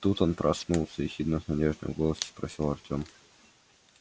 тут он проснулся ехидно но с надеждой в голосе спросил артём